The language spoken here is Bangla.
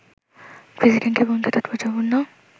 প্রেসিডেন্টের ভূমিকা তাৎপর্যপূর্ণ